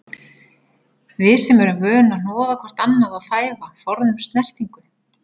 Við sem erum vön að hnoða hvort annað og þæfa, forðumst snertingu.